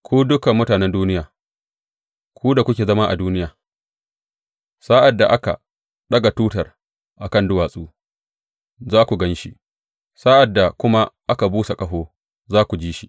Ku dukan mutanen duniya, ku da kuke zama a duniya, sa’ad da aka ɗaga tutar a kan duwatsu, za ku gan shi, sa’ad da kuma aka busa ƙaho, za ku ji shi.